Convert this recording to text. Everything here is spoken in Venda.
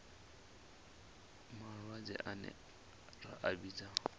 malwadze ane ra a vhidza